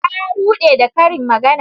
Ta rude da karin magana.